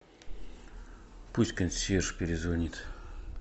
пусть консьерж перезвонит